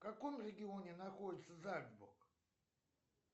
в каком регионе находится зальцбург